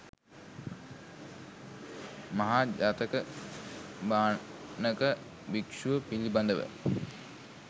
මහා ජාතක භාණක භික්‍ෂුව පිළිබඳව